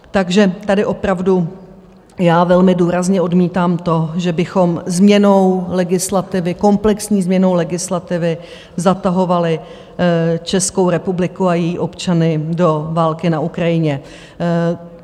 Takže tady opravdu já velmi důrazně odmítám to, že bychom změnou legislativy, komplexní změnou legislativy zatahovali Českou republiku a její občany do války na Ukrajině.